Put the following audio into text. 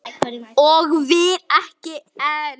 Og vill ekki enn.